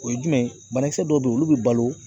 O ye jumɛn ye ? Banakisɛ dɔw be yen olu be balo .